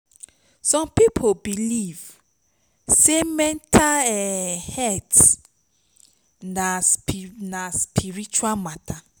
som pipo belief sey mental um health na na spiritual mata